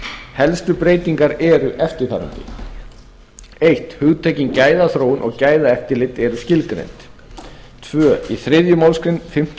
helstu breytingar eru eftirfarandi fyrsta hugtökin gæðaþróun og gæðaeftirlit eru skilgreind annars í þriðju málsgrein fimmtu